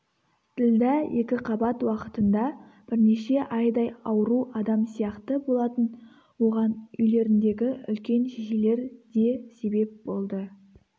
ділдә екіқабат уақытында бірнеше айдай ауру адам сияқты болатын оған үйлеріндегі үлкен шешелер де себеп болды